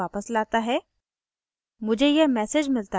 यह मुझे website पर वापस लाता है